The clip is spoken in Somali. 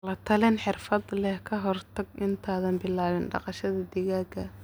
La-talin xirfadle ah ka hor intaadan bilaabin dhaqashada digaagga.